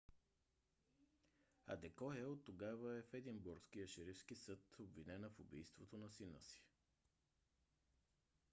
адекоя оттогава е в единбургския шерифски съд обвинена в убийството на сина си